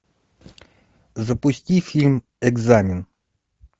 запусти фильм экзамен